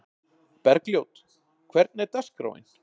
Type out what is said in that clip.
Bergljót, hvernig er dagskráin?